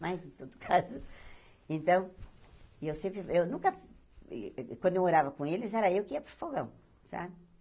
Mas, em todo caso... Então, eu sempre... Eu nunca... eh Quando eu morava com eles, era eu que ia para o fogão, sabe?